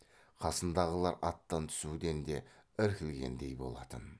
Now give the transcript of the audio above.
қасындағылар аттан түсуден де іркілгендей болатын